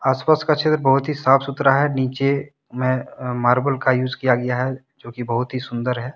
आसपास का क्षेत्र बहुत ही साफ सुथरा है नीचे में अह मार्बल का यूज किया गया है जो कि बहुत ही सुंदर है।